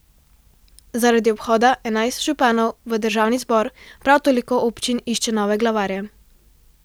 Zaradi odhoda enajstih županov v državni zbor prav toliko občin išče nove glavarje.